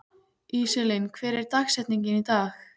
Íselín, hver er dagsetningin í dag?